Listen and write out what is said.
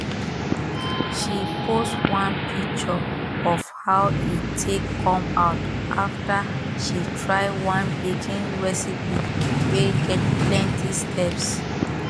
she post one picture of how e take come out after she try one baking recipe wey get plenty steps